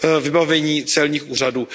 vybavení celních úřadů.